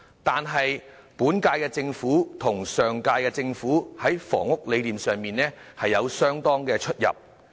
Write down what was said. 但是，本屆政府與上屆政府在房屋理念上有相當的差異。